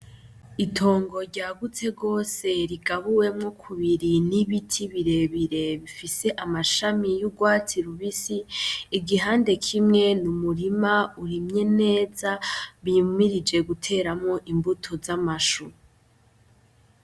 Itongo ryagutse gose rigabuwemo kubiri n'ibiti birebire bifise amashami y'urwatsi rubisi igihande kimwe n'umurima urimye neza bimirije guteramwo imbuto z'amashu.